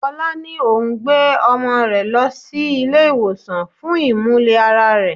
Fola ní òun gbé ọmọ rẹ lọ sí ilé ìwòsàn fún imule-ara rẹ.